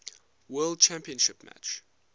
world championship match